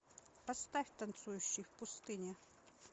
поставь танцующий в пустыне